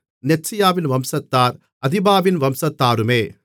நெத்சியாவின் வம்சத்தார் அதிபாவின் வம்சத்தாருமே